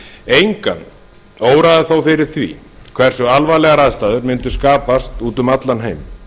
engan óraði þó fyrir því hversu alvarlegar aðstæður mundu skapast úti um allan heim